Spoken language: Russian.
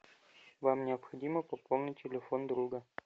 вам необходимо пополнить телефон друга